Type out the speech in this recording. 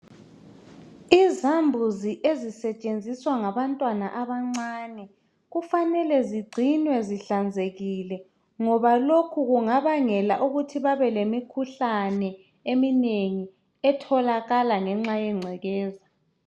Izambuzi ezisetshenziswa ngabantwana abancane. Kufanele zingcinwe zihlanzekile, ngoba lokhu kungabangela ukuthi babelemikhuhlane eminengi etholakala ngenxa yengcekeza.